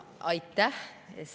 Aitäh!